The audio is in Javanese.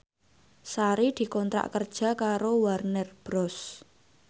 Sari dikontrak kerja karo Warner Bros